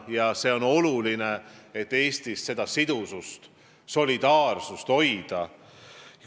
Ja see on oluline, selleks et Eestis hoida sidusust ja solidaarsust.